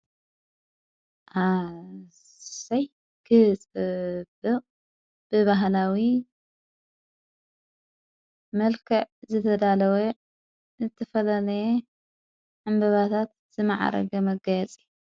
ኣሰይ ክጽብቕ ብበሃላዊ መልከዕ ዘተዳለወ ዝትፈለነየ ዕምበባታት ዘመዓረገ መጋያጺ።